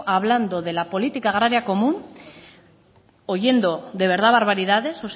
hablando de la política agraria común oyendo de verdad barbaridades